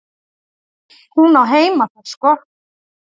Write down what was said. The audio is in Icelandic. Hún á heima þar sko.